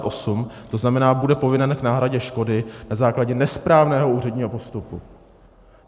To znamená, bude povinen k náhradě škody na základě nesprávného úředního postupu.